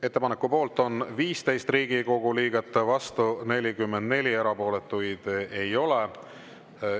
Ettepaneku poolt on 15 Riigikogu liiget, vastu 44, erapooletuid ei ole.